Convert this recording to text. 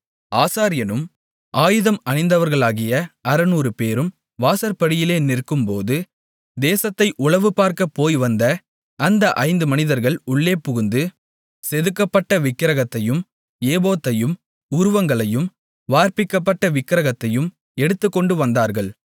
ஆசாரியனும் ஆயுதம் அணிந்தவர்களாகிய 600 பேரும் வாசற்படியிலே நிற்க்கும்போது தேசத்தை உளவுபார்க்கப் போய் வந்த அந்த 5 மனிதர்கள் உள்ளே புகுந்து செதுக்கப்பட்ட விக்கிரகத்தையும் ஏபோத்தையும் உருவங்களையும் வார்ப்பிக்கப்பட்ட விக்கிரகத்தையும் எடுத்துக்கொண்டு வந்தார்கள்